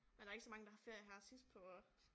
Men der ikke så mange der har ferie her sidst på